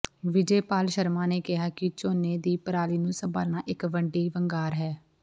ਵਿਜੇਪਾਲ ਸ਼ਰਮਾ ਨੇ ਕਿਹਾ ਕਿ ਝੋਨੇ ਦੀ ਪਰਾਲੀ ਨੂੰ ਸੰਭਾਲਣਾ ਇੱਕ ਵੱਡੀ ਵੰਗਾਰ ਹੈ